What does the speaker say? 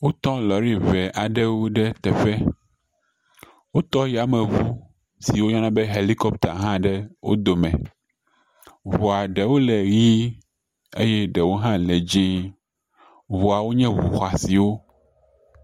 Wo tɔ lɔ̃ri ŋee aɖewo ɖe teƒe, wotɔ yameŋu si woyɔna be Helipkɔpta hã ɖe wo dome, ŋua ɖewo le ʋɛ̃ eye ɖewo hã le dzee, ŋuawo nye ŋu xɔasiwo.